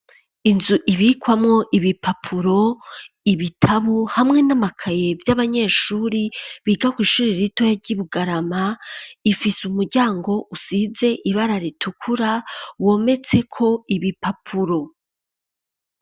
Inzu ibikwamo ibi papuro ibitabu hamwe n'amakaye vy'abanyeshuri bigako ishurira ritoya ry'i bugarama ifise umuryango usize ibara ritukura wometseko ibi papuro.